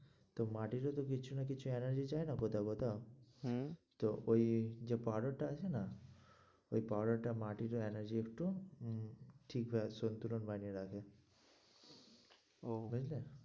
তো মাটিরও তো কিছু না কিছু energy চাই না হম তো ওই যে powder টা আছে না ওই powder টায় মাটিটার energy একটু উম ঠিক হয়ে আসে, ওই জন্যে ও, ঠিক আছে।